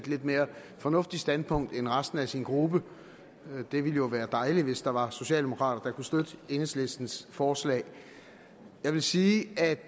et lidt mere fornuftigt standpunkt end resten af sin gruppe det vil jo være dejligt hvis der var socialdemokrater der kunne støtte enhedslistens forslag jeg vil sige at